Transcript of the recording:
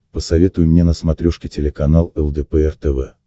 посоветуй мне на смотрешке телеканал лдпр тв